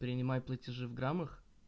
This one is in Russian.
принимай платежи в граммах